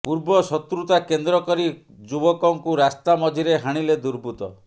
ପୂର୍ବ ଶତ୍ରୁତା କେନ୍ଦ୍ର କରି ଯୁବକଙ୍କୁ ରାସ୍ତା ମଝିରେ ହାଣିଲେ ଦୁର୍ବୁତ୍ତ